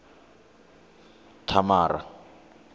thamara